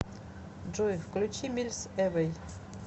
джой включи мильс эвэй